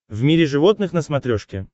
в мире животных на смотрешке